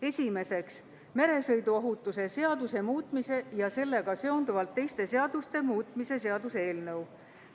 Esimeseks, meresõiduohutuse seaduse muutmise ja sellega seonduvalt teiste seaduste muutmise seaduse eelnõu.